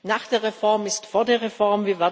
Nach der Reform ist vor der Reform.